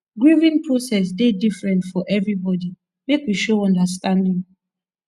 grieving process dey different for everybody make we show understanding